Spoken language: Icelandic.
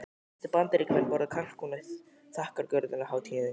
Flestir Bandaríkjamenn borða kalkún á þakkargjörðarhátíðinni.